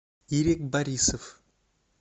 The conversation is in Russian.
ирик борисов